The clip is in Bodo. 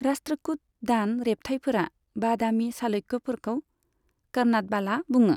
राष्ट्रकुट दान रेब्थायफोरा बादामी चालुक्यफोरखौ कर्नाटबाला बुङौ।